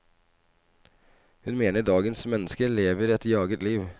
Hun mener dagens menneske lever et jaget liv.